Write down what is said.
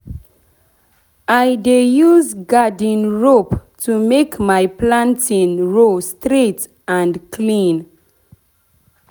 i dey use garden rope to make my planting row straight and clean.